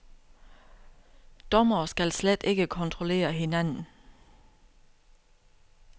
Dommere skal slet ikke kontrollere hinanden.